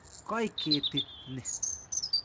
Koi ketit ni.